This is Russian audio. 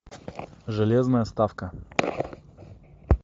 железная ставка